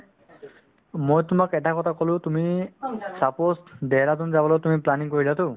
মই তোমাক এটা কথা ক'লো তুমি suppose দেহৰাদুন যাবলৈ তুমি planning কৰিলাতো